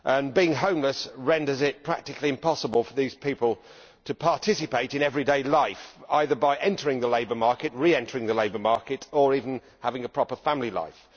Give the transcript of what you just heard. Being homeless renders it practically impossible for these people to participate in everyday life, either by entering or re entering the labour market, or by having a proper family life.